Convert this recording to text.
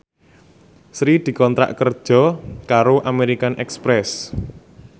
Sri dikontrak kerja karo American Express